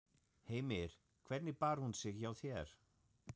Heimir: Hvernig bar hún sig hjá þér?